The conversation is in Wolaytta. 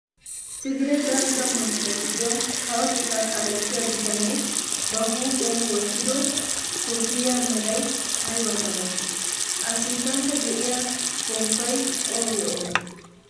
Tigire dalgga manttiyaa giddon kawotettaa kalettiyaa bitanee ba huuphphiyaa wottido kopiyaa meray aybaa milatii? a sinttankka de'iya pomppay oogee oogee?